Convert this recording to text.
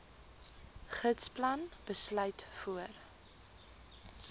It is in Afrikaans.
gidsplan besluit voor